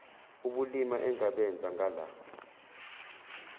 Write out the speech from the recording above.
ubulima engabenza ngala